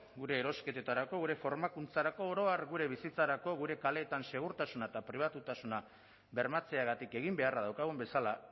gure erosketetarako gure formakuntzarako oro har gure bizitzarako gure kaleetan segurtasuna eta pribatutasuna bermatzeagatik egin beharra daukagun bezala